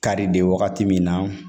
Kari de wagati min na